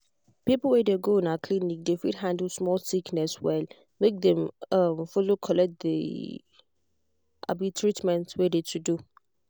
people wey de go um clinic de fit handle small sickness well make dem um follow collect d um treatment wey de to do.